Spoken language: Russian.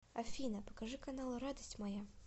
афина покажи канал радость моя